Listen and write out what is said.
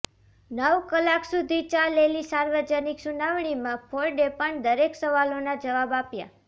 નવ કલાક સુધી ચાલેલી સાર્વજનિક સુનાવણીમાં ફોર્ડે પણ દરેક સવાલોના જવાબ આપ્યા